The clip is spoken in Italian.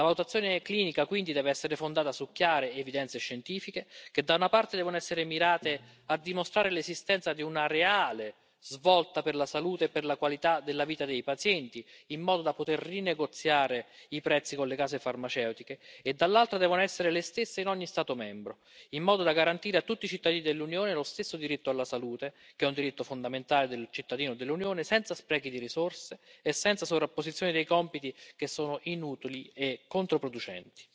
La votazione clinica quindi deve essere fondata su chiare evidenze scientifiche, che da una parte, devono essere mirate a dimostrare l'esistenza di una reale svolta per la salute e per la qualità della vita dei pazienti, in modo da poter rinegoziare i prezzi con le case farmaceutiche e dall'altro, devono essere le stesse in ogni Stato membro, in modo da garantire a tutti i cittadini dell'Unione lo stesso diritto alla salute che è un diritto fondamentale del cittadino dell'Unione, senza sprechi di risorse e senza sovrapposizioni dei compiti che sono inutili e controproducenti.